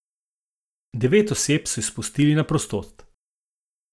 Devet oseb so izpustili na prostost.